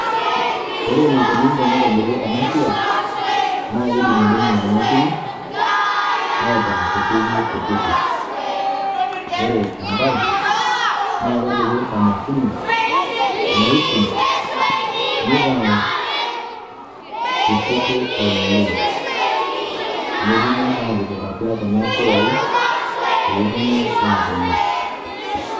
Ore neikoni tenetibiri ena siai naa kedung'idung'i kuna nkiiri aitaa kutiti kutiti . Ore enkaai naa kepiiki emashini naikung'u netaa kutiti oleng. Netuumi apiik atua kuna kuyai pee tuumi atimiir.